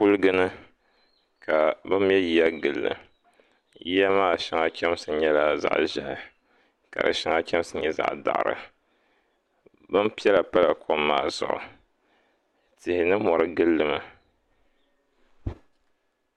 Kuliga ni ka bi mɛ yiya gilli yiya maa shɛli chɛmsi nyɛla zaɣ ʒiɛhi ka di shɛŋa chɛmsi nyɛ zaɣ daɣari bin piɛla shɛŋa pala kom maa zuɣu tihi ni mori gilli mi